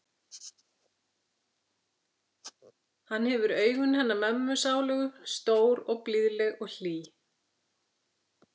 Hann hefur augun hennar mömmu sálugu, stór og blíðleg og hlý.